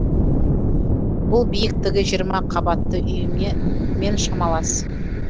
бұл биіктігі жиырма қабатты үйі ме мен шамалас